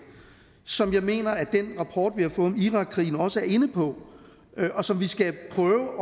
som jeg mener at den rapport vi har fået om irakkrigen også er inde på og som vi skal prøve